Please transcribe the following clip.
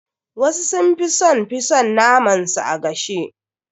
Wasu sun fi son fi son naman su a gashe.